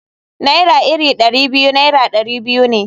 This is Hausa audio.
Naira iri Dari biyu Naira dari biyu ne.